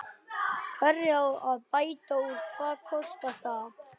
Hvernig á að bæta úr og hvað kostar það?